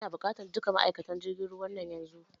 Ina buƙatan dukan ma'aikatan jirgin ruwa nan yanzu!